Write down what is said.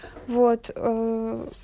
вот ээ